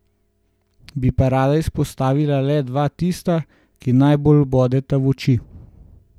Bi pa rada izpostavila le dva tista, ki najbolj bodeta v oči.